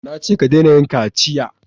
Na ce ka dena yin kaciya!